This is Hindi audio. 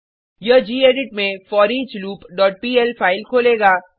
यह गेडिट में foreachloopपीएल फाइल खोलेगा